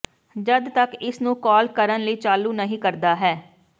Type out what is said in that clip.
ਜਦ ਤੱਕ ਇਸ ਨੂੰ ਕਾਲ ਕਰਨ ਲਈ ਚਾਲੂ ਨਹੀ ਕਰਦਾ ਹੈ